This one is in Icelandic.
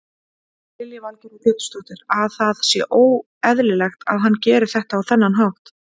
Lillý Valgerður Pétursdóttir: Að það sé óeðlilegt að hann geri þetta á þennan hátt?